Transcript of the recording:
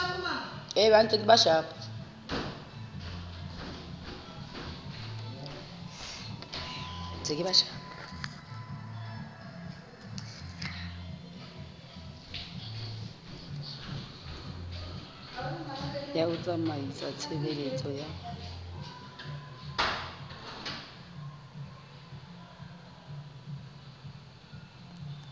ya ho tsamaisa tshebeletso ya